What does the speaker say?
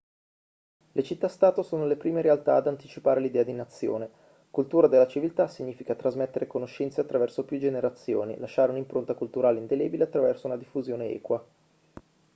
le città-stato sono le prime realtà ad anticipare l'idea di nazione cultura della civiltà significa trasmettere conoscenze attraverso più generazioni lasciare un'impronta culturale indelebile attraverso una diffusione equa